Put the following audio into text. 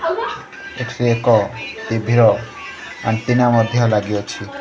ଏଠି ଏକ ଟି_ଭି ର ଅ ଆଣ୍ଟିନା ମଧ୍ୟ ଲଗିଅଛି।